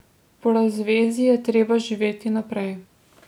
Po razvezi je treba živeti naprej.